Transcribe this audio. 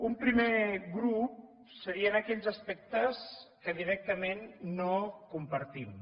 un primer grup serien aquells aspectes que directament no compartim